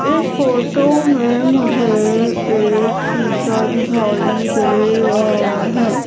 इस फोटो में मुझे एक शिशा दिखाई दे रहा हैं।